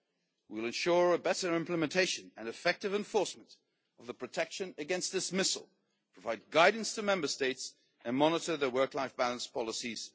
We will ensure better implementation and effective enforcement of the protection against dismissal, provide guidance to Member States and monitor the development of their work life balance policies.